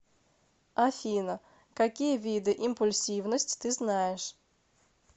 афина какие виды импульсивность ты знаешь